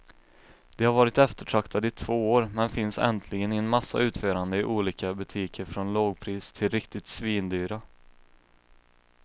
De har varit eftertraktade i två år, men finns äntligen i en massa utföranden i olika butiker från lågpris till riktigt svindyra.